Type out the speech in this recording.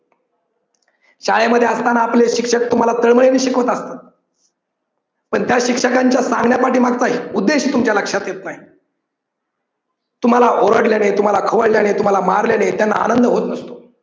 शाळेमध्ये असताना आपले शिक्षक तुम्हाला तळमळीने शिकवतात पण त्या शिक्षकांच्या सांगण्या पाठीमागचा उद्देश तुमच्या लक्षात येत नाही तुम्हाला ओरडल्याने, तुम्हाला खवळल्याने, तुम्हाला मारल्याने त्यांना आनंद होत नसतो.